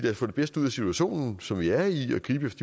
at få det bedste ud af situationen som vi er i og gribe